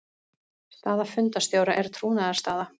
Staða fundarstjóra er trúnaðarstaða.